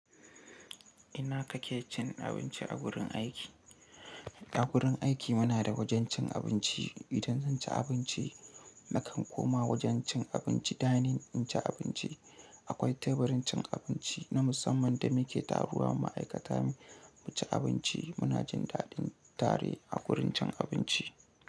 Ina kake cin abinci a wurin aiki? A wurin aiki muna da wajen cin abinci. Idan zan ci abinci, na kan koma wajen cin abinci dining in ci abinci. Akwai teburin cin abinci na musamman da muke taruwa ma'aikata mu ci abinci. Muna jin daɗin tare a wurin cin abinci.